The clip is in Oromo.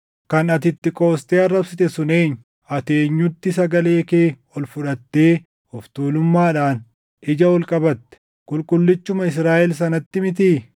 Kan ati itti qoostee arrabsite sun eenyu? Ati eenyutti sagalee kee ol fudhattee of tuulummaadhaan ija ol qabatte? Qulqullichuma Israaʼel sanatti mitii!